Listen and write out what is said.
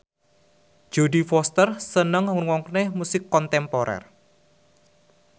Jodie Foster seneng ngrungokne musik kontemporer